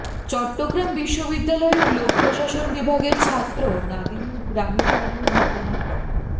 চট্টগ্রাম বিশ্ববিদ্যালয়ের লোক প্রশাসন বিভাগের ছাত্র নাদিমের গ্রামের বাড়িও ঘটনাক্রমে